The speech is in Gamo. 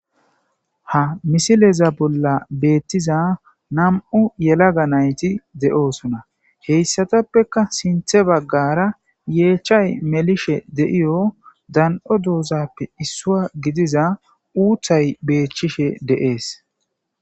Ha misileza bolla beettiza nam'u yelaga nayti de'oosona heyssatappeka sinthe baggara yeechay melishe de'iyo dan'o doozappe issua gidiza uuthay beechchishe deees.